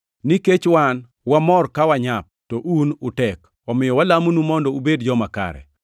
Nikech wan wamor ka wanyap, to un utek. Omiyo walamonu mondo ubed joma kare.